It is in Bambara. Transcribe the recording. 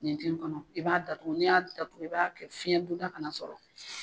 Ɲintin tɛ kɔnɔ i b'a datugu n'i y'a datugu i b'a kɛ fiɲɛdonda kana sɔrɔ.